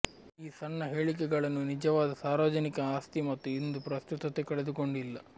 ಈ ಸಣ್ಣ ಹೇಳಿಕೆಗಳನ್ನು ನಿಜವಾದ ಸಾರ್ವಜನಿಕ ಆಸ್ತಿ ಮತ್ತು ಇಂದು ಪ್ರಸ್ತುತತೆ ಕಳೆದುಕೊಂಡಿಲ್ಲ